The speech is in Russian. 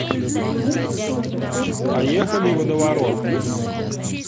поехали водоворот